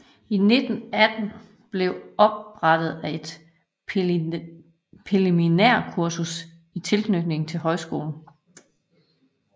I 1918 blever oprettet et præliminærkursus i tilknytning til højskolen